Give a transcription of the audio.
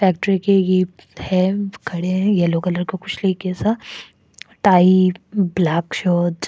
factory के ये खड़े हैं एल्लो कलर का कुछ लिए ए सा टाई ब्लॅक शर्ट्स --